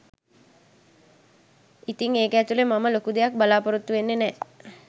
ඉතිං ඒක ඇතුළෙ මම ලොකු දෙයක් බලාපොරොත්තු වෙන්නෙ නෑ